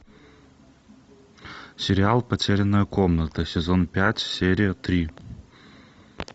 сериал потерянная комната сезон пять серия три